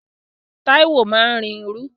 Táíwò máa ń rin irú